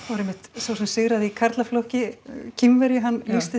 sá sem sigraði í karlaflokki Kínverji lýsti